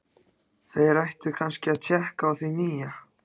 Þeir ættu kannski að tékka á því nýja.